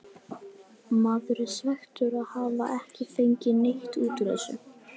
Maður er svekktur að hafa ekki fengið neitt út úr þessu.